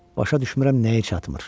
Başa düşmürəm nəyi çatmır?